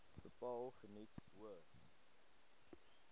bepaal geniet hoë